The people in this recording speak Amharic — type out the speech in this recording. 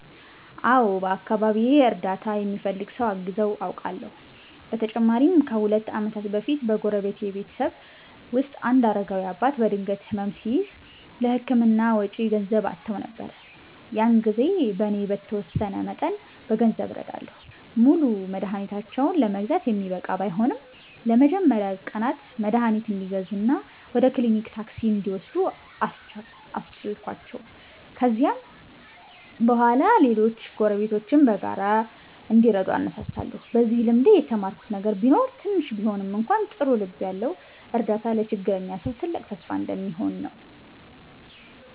አዎ፣ በአካባቢዬ እርዳታ የሚፈልግ ሰው አግዘው አውቃለሁ። በተለይም ከሁለት ዓመት በፊት በጎረቤቴ ቤተሰብ ውስጥ አንድ አረጋዊ አባት በድንገት ሕመም ሲያዝ፣ ለሕክምና ወጪ ገንዘብ አጥተው ነበር። ያን ጊዜ እኔ በተወሰነ መጠን በገንዘብ ረዳሁ። ሙሉ መድኃኒታቸውን ለመግዛት የሚበቃ ባይሆንም፣ ለመጀመሪያ ቀናት መድኃኒት እንዲገዙ እና ወደ ክሊኒክ ታክሲ እንዲወስዱ አስቻልኳቸው። ከዚያም በኋላ ሌሎች ጎረቤቶችም በጋራ እንዲረዱ አነሳሳሁ። በዚህ ልምዴ የተማርኩት ነገር ቢኖር ትንሽ ቢሆንም እንኳ ጥሩ ልብ ያለው እርዳታ ለችግረኛ ሰው ትልቅ ተስፋ እንደሚሆን ነው።